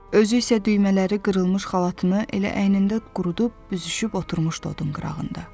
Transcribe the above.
Özü isə düymələri qırılmış xalatını elə əynində qurudub büzüşüb oturmuşdu odun qırağında.